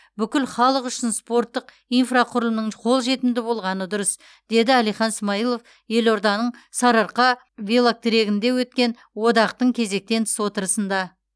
бүкіл халық үшін спорттық инфрақұрылымның қолжетімді болғаны дұрыс деді әлихан смайылов елорданың сарыарқа велотрегінде өткен одақтың кезектен тыс отырысында